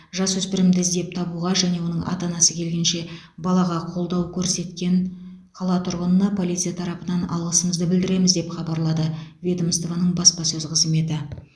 жасөспірімді іздеп табуға және оның ата анасы келгенше балаға қолдау көрсеткен қала тұрғынына полиция тарапынан алғысымызды білдіреміз деп хабарлады ведомствоның баспасөз қызметі